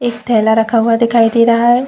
एक थैला रखा हुआ दिखाई दे रहा है।